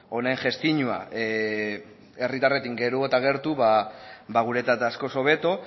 honen gestioa herritarrengandik geroz eta gertu guretzat askoz hobeto